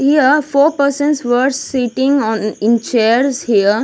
Here four persons were sitting on in chairs here.